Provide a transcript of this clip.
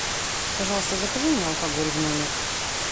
пожалуйста закажи мне алкоголь в номер